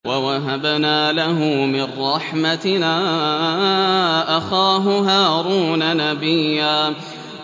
وَوَهَبْنَا لَهُ مِن رَّحْمَتِنَا أَخَاهُ هَارُونَ نَبِيًّا